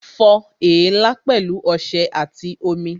Fọ èélá pẹ̀lú ọṣẹ àti omi